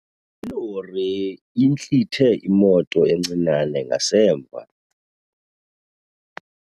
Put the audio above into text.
Ilori intlithe imoto encinane ngasemva.